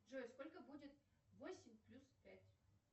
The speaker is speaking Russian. джой сколько будет восемь плюс пять